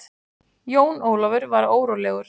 Jón Ólafur var órólegur.